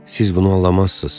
Siz bunu anlamazsınız.